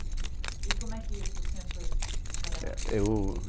E como é que o senhor foi trabalhar? É eu